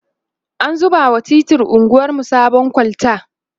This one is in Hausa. an zuba wa titin anguwarmu sabon kolta